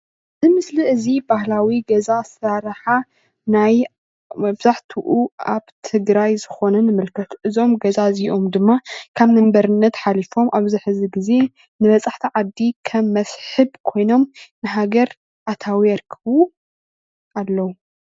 እዚ ምስሊ እዚ ባህሊዊ ገዛ እሰራርሓ ናይ መብዛሕትኡ አብ ትግራይ ዝኮነን የመልክት እዞም ገዛ እዚኦም ድማ ካብ ንመንበርነት ሓሊፎም አብዚ ሕዚ ግዘ ንበፃሕቲ ዓዲ ከም መስሕብ ኮይኖም ንሃገር አታዊ የርክቡ አለው።